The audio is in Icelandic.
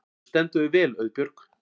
Þú stendur þig vel, Auðbjörg!